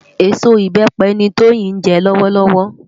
Esó ibèpè ni Toyin jè lòwòlòwò